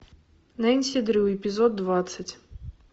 нэнси дрю эпизод двадцать